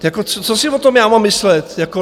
Jako co si o tom já mám myslet jako?